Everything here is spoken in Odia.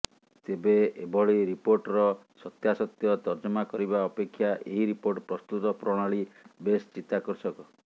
ତେବେ ଏଭଳି ରିପୋର୍ଟର ସତ୍ୟାସତ୍ୟ ତର୍ଜମା କରିବା ଅପେକ୍ଷା ଏହି ରିପୋର୍ଟ ପ୍ରସ୍ତୁତ ପ୍ରଣାଳୀ ବେଶ୍ ଚିତାକର୍ଷକ